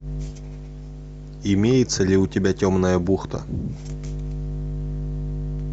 имеется ли у тебя темная бухта